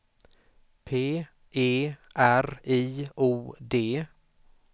P E R I O D